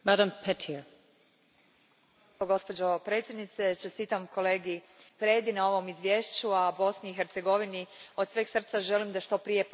Gospođo predsjednice, čestitam kolegi Predi na ovom izvješću, a Bosni i Hercegovini od sveg srca želim da što prije postane članica Europske unije.